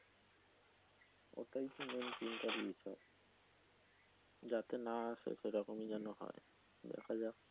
এটা খুবই চিন্তার বিষয় যাতে না আসে সেরকমই যেন হয় দেখা যাক।